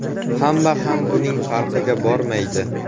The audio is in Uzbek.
Hamma ham buning farqiga bormaydi.